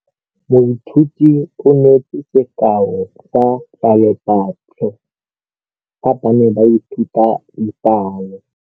Moithuti o neetse sekaô sa palophatlo fa ba ne ba ithuta dipalo.